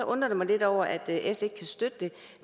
undrer jeg mig lidt over at s ikke kan støtte det